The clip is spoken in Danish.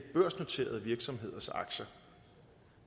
børsnoterede virksomheders aktier